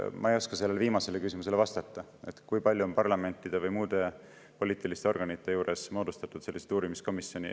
Ma ei oska vastata sellele viimasele küsimusele, et kui palju on parlamentide või muude poliitiliste organite juurde moodustatud selliseid uurimiskomisjone.